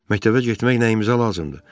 Məktəbə getmək nəyimizə lazımdır?